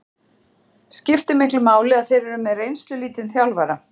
Skiptir miklu máli að þeir eru með reynslulítinn þjálfara?